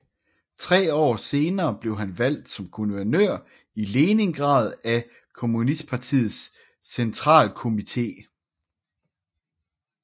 Tre år senere blev han valgt som guvernør i Leningrad af kommunistpartiets centrakomité